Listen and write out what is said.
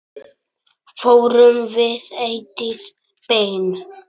Fórum við Eydís Ben.